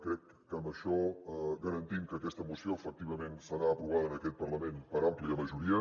crec que amb això garantim que aquesta moció efectivament serà aprovada en aquest parlament per àmplia majoria